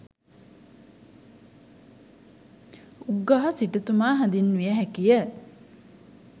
උග්ගහ සිටුතුමා හැඳින්විය හැකි ය.